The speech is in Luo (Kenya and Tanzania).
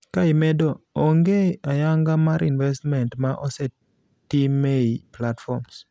Ka imedo ,onge ayanga mar investment ma osetimei platforms.